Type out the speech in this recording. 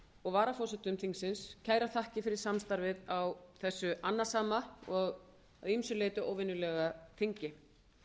og varaforsetum þingsins kærar þakkir fyrir samstarfið á þessu annasama og að ýmsu leyti óvenjulega þingi